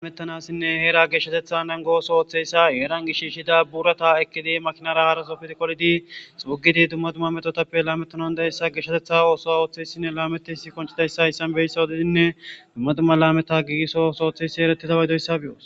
Hayssan heera geeshshateththa naagos othizaysa Herran shishimakinara haraso duma duma lametanae